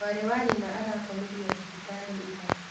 Mwarĩwa nyina arakomirio thibitarĩira.